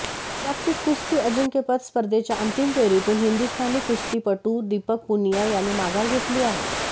जागतिक कुस्ती अजिंक्यपद स्पर्धेच्या अंतिम फेरीतून हिंदुस्थानी कुस्तीपटू दीपक पुनिया याने माघार घेतली आहे